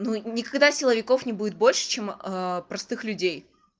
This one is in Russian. ну никогда силовиков не будет больше чем простых людей